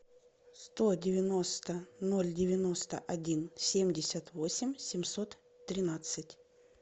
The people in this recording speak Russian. сто девяносто ноль девяносто один семьдесят восемь семьсот тринадцать